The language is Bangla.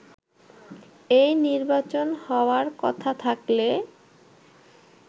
এই নির্বাচন হওয়ার কথা থাকলে